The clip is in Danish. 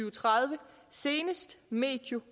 og tredive senest medio